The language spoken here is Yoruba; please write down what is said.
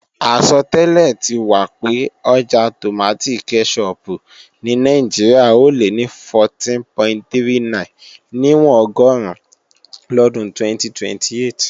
Àsọtẹ́lẹ̀ ti wà pé ọjà tòmátì kẹ́ṣọpù ní Nàìjíríà ò lé ní 14.39 níwọ̀n ọgọ́run lọ́dún 2028